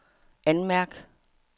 anmærk